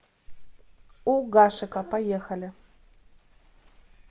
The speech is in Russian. у гашека поехали